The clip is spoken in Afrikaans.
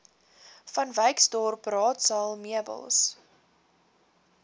vanwyksdorp raadsaal meubels